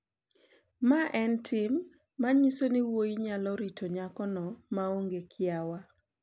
Mae en tim ma nyiso ni wuoyi nyalo rito nyakono maonge kiawa.